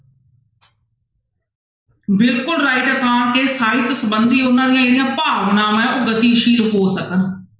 ਬਿਲਕੁਲ right ਸਾਹਿਤ ਸੰਬੰਧੀ ਉਹਨਾਂ ਦੀਆਂ ਜਿਹੜੀਆਂ ਭਾਵਨਾਵਾਂ ਹੈ ਉਹ ਗਤੀਸ਼ੀਲ ਹੋ ਸਕਣ।